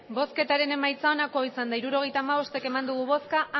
emandako botoak hirurogeita hamabost bai